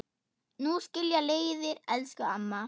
Nú skilja leiðir, elsku amma.